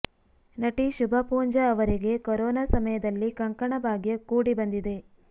ನಟಿ ಶುಭಾ ಪೂಂಜಾ ಅವರಿಗೆ ಕೊರೊನಾ ಸಮಯದಲ್ಲಿ ಕಂಕಣಭಾಗ್ಯ ಕೂಡಿ ಬಂದಿದೆ